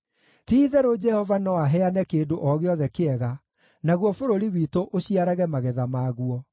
Ti-itherũ Jehova no aheane kĩndũ o gĩothe kĩega, naguo bũrũri witũ ũciarage magetha maguo.